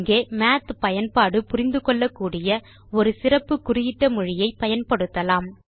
இங்கே மாத் பயன்பாடு புரிந்து கொள்ளக்கூடிய ஒரு சிறப்பு குறியிட்ட மொழியை பயன்படுத்தலாம்